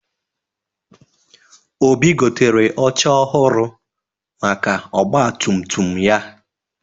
Obi gotere oche ọhụrụ maka ọgbatumtum ya.